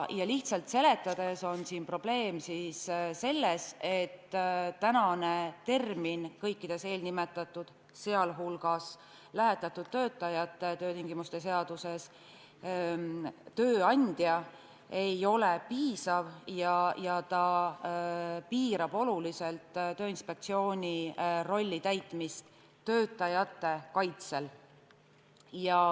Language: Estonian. Lihtsalt seletades on probleem selles, et kõikides nimetatud seadustes, sh lähetatud töötajate töötingimuste seaduses ei ole termin "tööandja" piisav ja see piirab oluliselt Tööinspektsiooni rolli täitmist töötajate kaitsel.